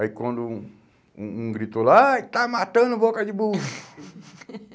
Aí quando um um um gritou lá, ai está matando o boca de burro.